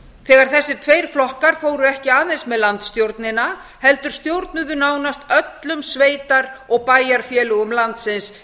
þegar þessir tveir flokkar fóru ekki aðeins með landsstjórnina heldur stjórnuðu nánast öllum sveitar og bæjarfélögum landsins